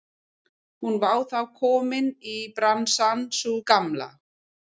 Hún var þá komin í bransann sú gamla!